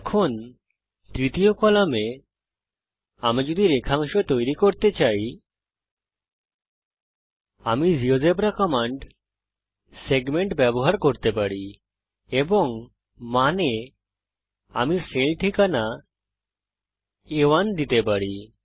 এখন তৃতীয় কলামে আমি যদি রেখাংশ তৈরি করতে চাই আমি জীয়োজেব্রা কমান্ড সেগমেন্ট ব্যবহার করতে পারি এবং মান এ আমি সেল ঠিকানা আ1 দিতে পারি